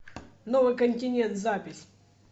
новый континент запись